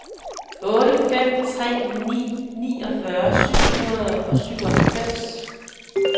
otte fem tre ni niogfyrre syv hundrede og syvoghalvfems